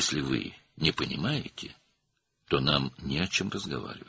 Əgər başa düşmürsünüzsə, onda bizim danışmağa heç nəyimiz yoxdur.